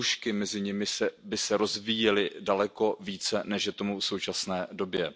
Ty nůžky mezi nimi by se rozvíjely daleko více, než je tomu v současné době.